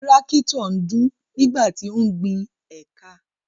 Tírákítọ̀ ń dún nígbà tí ó ń gbin éékà.